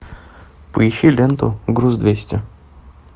поищи ленту груз двести